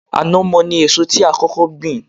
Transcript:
Ànàmọ́ ni èso tí a kókó gbìn